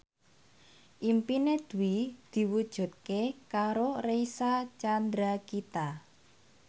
impine Dwi diwujudke karo Reysa Chandragitta